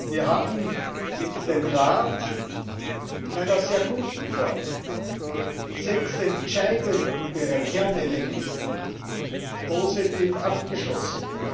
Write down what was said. Wir haben mit dem Rat in einer sehr guten Form die sechs entscheidenden Kernelemente positiv abgeschlossen.